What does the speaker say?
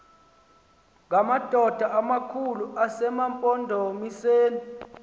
ngamadoda amakhulu asemampondomiseni